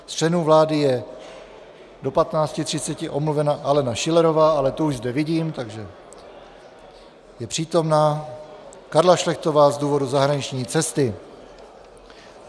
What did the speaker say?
Z členů vlády je do 15.30 omluvena Alena Schillerová, ale tu už zde vidím, takže je přítomna, Karla Šlechtová z důvodu zahraniční cesty.